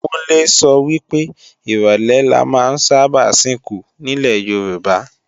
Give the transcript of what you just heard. Kúnlé sọ wípé, ìrólé la ma ń sáábà sìnkú nílè Yorùbá